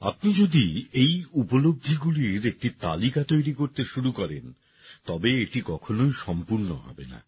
আপনি যদি এই উপলব্ধিগুলির একটি তালিকা তৈরি করতে শুরু করেন তবে এটি কখনই সম্পূর্ণ হবে না